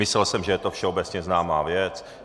Myslel jsem, že je to všeobecně známá věc.